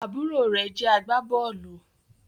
àbúrò rẹ̀ jẹ́ agbábọ́ọ̀lù